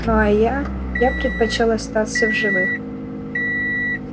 ну а я я предпочёл остаться в живых